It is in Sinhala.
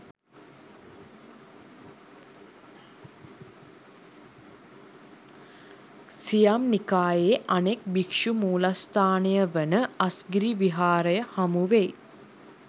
සියම් නිකායේ අනෙක් භික්ෂු මූලස්ථානය වන අස්ගිරි විහාරය හමුවෙයි.